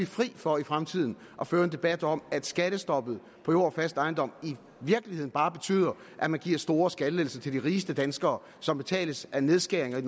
fri for i fremtiden at føre en debat om at skattestoppet i og fast ejendom i virkeligheden bare betyder at man giver store skattelettelser til de rigeste danskere som betales af nedskæringer i